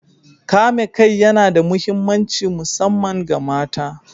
Kame kai yana da mahimmanci musamman ga mata.